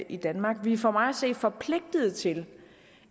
i danmark vi er for mig at se forpligtet til